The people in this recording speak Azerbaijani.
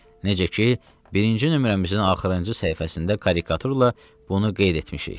Necə ki, birinci nömrəmizin axırıncı səhifəsində karikaturla bunu qeyd etmişik.